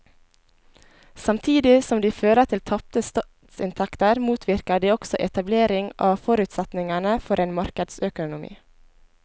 Samtidig som de fører til tapte statsinntekter motvirker de også etablering av forutsetningene for en markedsøkonomi.